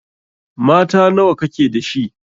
Mata nawa ka ke da shi?